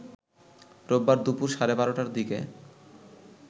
রোববার দুপুর সাড়ে ১২টার দিকে